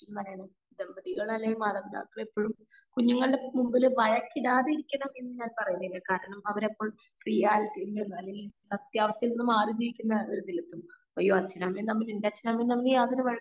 എന്ന് പറയുന്നത് ദാമ്പതികൾ അല്ലെങ്കി മാതാപിതാക്കളെപ്പോഴും കുഞ്ഞുങ്ങളുടെ മുമ്പിൽ വഴക്കിടാതെ ഇരിക്കണം എന്ന് ഞാൻ പേരെയുന്നില്ല കാരണം അവര് എപ്പോഴും റീലിറ്റിയിൽനിന്ന് സത്യാവസ്ഥയിൽ നിന്ന് മാറി നിൽക്കുന്ന ഒരു നിമിത്തം അയ്യോ അച്ഛനും അമ്മയും തമ്മിൽ വയക്കണമെന്നില്ല